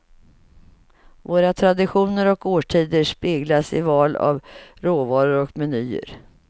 Våra traditioner och årstider speglas i val av råvaror och menyer.